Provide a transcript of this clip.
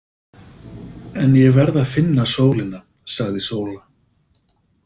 En ég verð að finna sólina, sagði Sóla. „